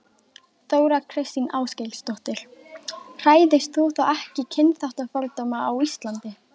Þóra Kristín Ásgeirsdóttir: Hræðist þú þá ekki kynþáttafordóma á Íslandi?